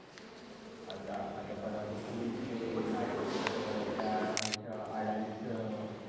आता आता परदिवशी जे market अ त्या याच अडाणीच.